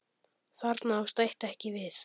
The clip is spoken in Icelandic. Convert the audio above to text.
Þarna á stætt ekki við.